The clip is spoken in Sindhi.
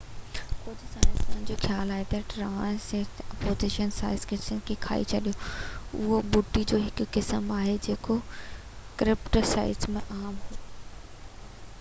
ڪجهہ سائنسدانن جو خيال آهي تہ ٽرائيسراٽوپس سائڪڊس کي کائي ڇڏيو اهو ٻوٽي جو هڪ قسم آهي جيڪو ڪريٽاسيئس م عام هو